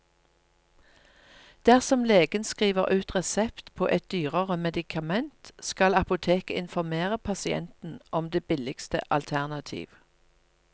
Dersom legen skriver ut resept på et dyrere medikament, skal apoteket informere pasienten om det billigste alternativ.